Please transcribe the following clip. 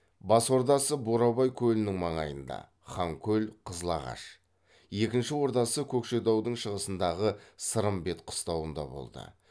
бас ордасы бурабай көлінің маңайында екінші ордасы көкшетаудың шығысындағы сырымбет қыстауында болды